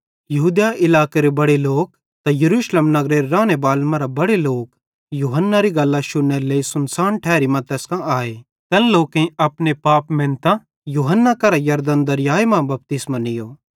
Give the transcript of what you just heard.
यहूदिया इलाकेरे बड़े लोक त यरूशलेम नगरेरे रानेबालन मरां बड़े लोक यूहन्नारी गल्लां शुन्नेरे लेइ सुनसान ठैरी मां तैस कां आए तैन लोकेईं अपने पाप मेनतां यूहन्ना करां यरदन दरयाए मां बपतिस्मो नीयो